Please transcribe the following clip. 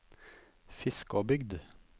Fiskåbygd